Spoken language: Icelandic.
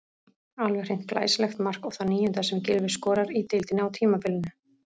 Alveg hreint glæsilegt mark og það níunda sem Gylfi skorar í deildinni á tímabilinu.